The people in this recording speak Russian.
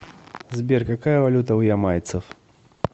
сбер какая валюта у ямайцев